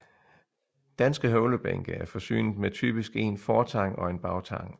Danske høvlebænke er forsynet med typisk en fortang og en bagtang